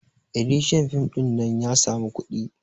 editian fim ɗin nan ya samu kuɗi